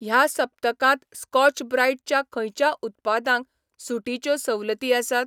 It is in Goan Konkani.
ह्या सप्तकांत स्कॉच ब्राईट च्या खंयच्या उत्पादांक सूटीच्यो सवलती आसात?